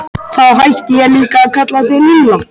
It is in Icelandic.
Þá hætti ég líka að kalla þig Lilla.